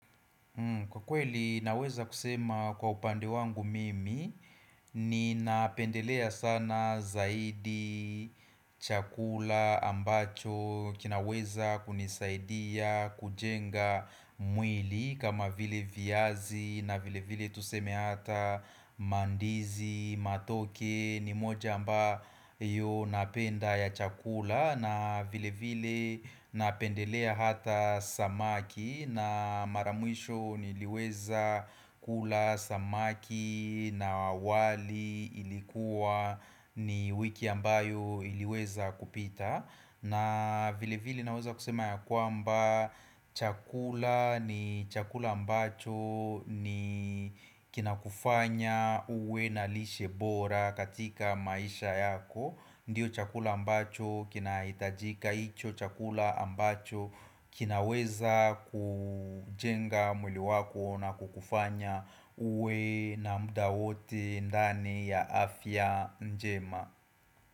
Kwa kweli naweza kusema kwa upande wangu mimi ni napendelea sana zaidi chakula ambacho kinaweza kunisaidia kujenga mwili kama vile viazi na vile vile tuseme hata mandizi, matoke ni moja amba yo napenda ya chakula na vile vile napendelea hata samaki na maramwisho niliweza kula samaki na wali ilikuwa ni wiki ambayo iliweza kupita na vile vile naweza kusema ya kwamba chakula ni chakula ambacho ni kinakufanya uwe na lishebora katika maisha yako. Ndiyo chakula ambacho kinahitajika hicho chakula ambacho kinaweza kujenga mwili wako na kukufanya uwe na muda wote ndani ya afya njema.